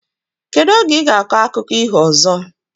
Kedu oge iga akọ akụkọ iho ozo?